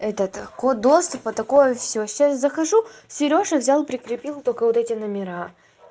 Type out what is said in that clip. этот код доступа такое всё сейчас захожу серёжа взял прикрепил только вот эти номера